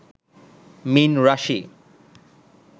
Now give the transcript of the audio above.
মীন রাশি